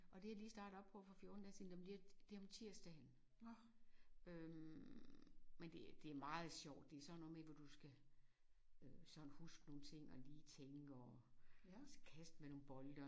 Og det er jeg lige startet op på for 14 dage siden og det om det om tirsdagen øh men det det meget sjovt det sådan noget med hvor du skal øh sådan huske nogle ting og lige tænke og kaste med nogle bolde